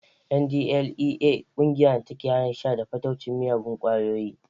NDLEA ƙungiya ce da take hana sha da fataucin miyagun ƙwayoyi